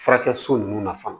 Furakɛ so ninnu na fana